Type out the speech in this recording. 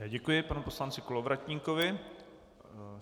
Já děkuji panu poslanci Kolovratníkovi.